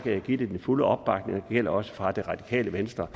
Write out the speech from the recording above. jeg give det den fulde opbakning og det gælder også for det radikale venstres